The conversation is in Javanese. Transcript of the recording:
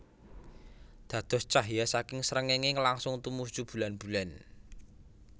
Dados cahya saking srengéngé langsung tumuju bulanbulan